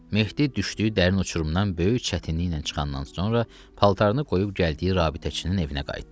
Mehdi düşdüyü dərin uçurumdan böyük çətinliklə çıxandan sonra paltarını qoyub gəldiyi rabitəçinin evinə qayıtdı.